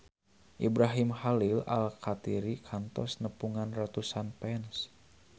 Ibrahim Khalil Alkatiri kantos nepungan ratusan fans